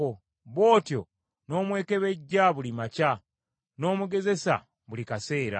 Bw’otyo n’omwekebejja buli makya, n’omugezesa buli kaseera?